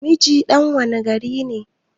Mijin ɗan wanne gari ne?